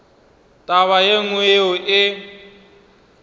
taba ye nngwe yeo e